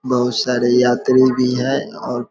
बहुत सारे यात्री भी है औ --